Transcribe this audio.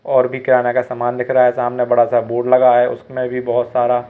और भी गहना का सामान दिख रहा है सामने बड़ा सा बोर्ड लगा है उसमें भी बहोत सारा--